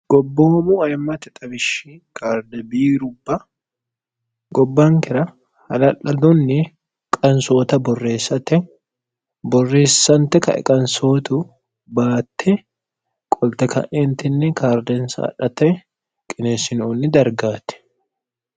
gobboomu mme xwishshi karde biirubba gobbaankira hala'ladunni qansoota borreessate borreessante kae qansootu baatte qolte ka'intinni kaardensaadhate qineessinoonni dargaati